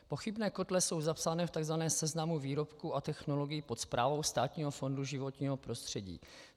Pochybné kotle jsou zapsány v tzv. seznamu výrobků a technologií pod správou Státního fondu životního prostředí.